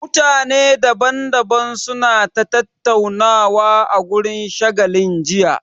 Mutane daban daban su na ta tattaunawa a wurin shagalin jiya